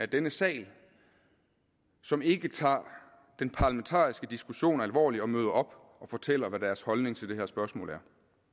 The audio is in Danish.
i denne sal som ikke tager den parlamentariske diskussion alvorligt og møder op og fortæller hvad deres holdning til det her spørgsmål er